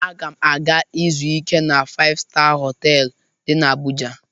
Aga m aga izu ike n'otu faịv-staa họtelụ dị n'Abụja.